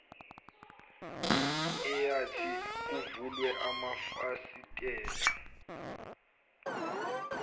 eyathi kuvulwe amafasitela